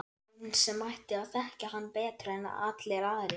Hún sem ætti að þekkja hann betur en allir aðrir.